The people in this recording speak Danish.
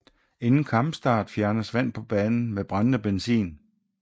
Inden kampstart fjernes vand på banen med brændende benzin